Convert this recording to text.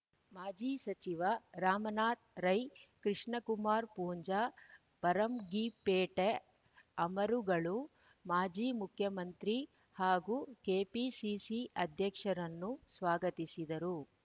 ಮಾಜಿ ಸಚಿವ ರಮಾನಾಥ ರೈ ಕೃಷ್ಣಕುಮಾರ್ ಪೂಂಜಾ ಫರಂಗಿಪೇಟೆ ಅಮರುಗಳು ಮಾಜಿ ಮುಖ್ಯಮಂತ್ರಿ ಹಾಗೂ ಕೆಪಿಸಿಸಿ ಅಧ್ಯಕ್ಷರನ್ನು ಸ್ವಾಗತಿಸಿದರು